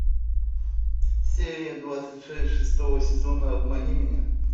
серия двадцать шесть шестого сезона обмани меня